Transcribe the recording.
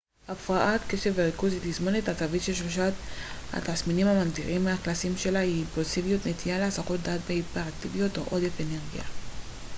הפרעת קשב וריכוז היא תסמונת עצבית ששלושת התסמינים המגדירים הקלאסיים שלה הם אימפולסיביות נטייה להסחות דעת והיפראקטיביות או עודף אנרגיה